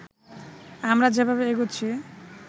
আমরা যেভাবে এগুচ্ছি